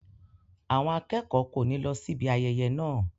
Àwọn akẹ́kọ̀ọ́ kò ní lọ síbi ayẹyẹ náà.